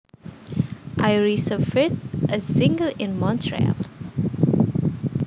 I reserved a single in Montreal